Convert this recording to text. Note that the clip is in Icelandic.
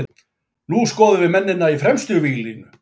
Nú skoðum við mennina í fremstu víglínu.